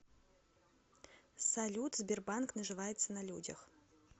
салют сбербанк наживается на людях